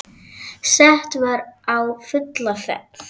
Sett var á fulla ferð.